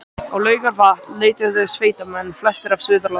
Á Laugarvatn leituðu sveitamenn, flestir af Suðurlandi